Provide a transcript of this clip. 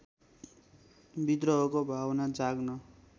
विद्रोहको भावना जाग्न